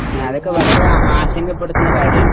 അതൊക്കെ വളരെ ആശങ്കപ്പെടുത്തുന്ന കാര്യാണ്..